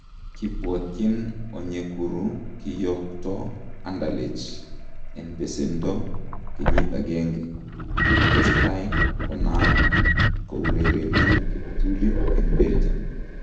Kibwootyin Onyekuru kiyookto Anderlecht en beseendo kenyiit agenge , kotestai konaak kourereni kiptuliit en Belgium